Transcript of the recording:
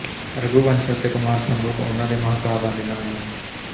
ਰਘੁਵੰਸ਼ ਅਤੇ ਕੁਮਾਰਸੰਭਵ ਉਨ੍ਹਾਂ ਦੇ ਮਹਾਂਕਾਵਾਂ ਦੇ ਨਾਮ ਹਨ